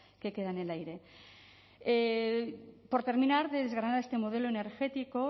que queda en el aire por terminar de desgranar este modelo energético